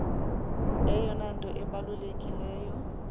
eyona nto ibalulekileyo